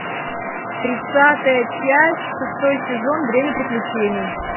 тридцатая часть шестой сезон время приключений